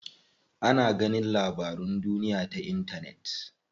Ana ganin labarun duniya ta intanet.